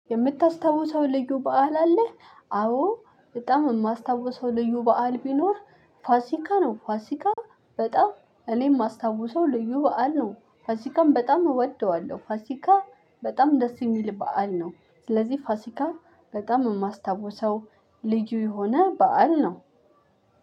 "የምታስታውሰው ልዩ በዓል አለህ?" አዎ በጣም የማስታውሰው ልዩ በዓል ቢኖር ፋሲካ ነው። ፋሲካ በጣም እኔ የማስታውሰው ልዩ በዓል ነው። ፋሲካን በጣም እወደዋለሁ። ፋሲካ በጣም ደስ የሚል በዓል ነው። ስለዚህ ፋሲካ በጣም የማስታውሰው ልዩ የሆነ በዓል ነው።